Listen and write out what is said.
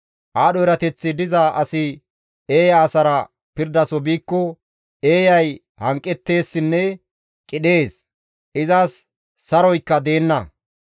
Aadho erateththi diza asi eeya asara pirdaso biikko eeyay hanqetteessinne qidhees; izas saroykka deenna.